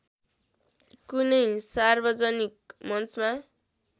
कुनै सार्वजनिक मञ्चमा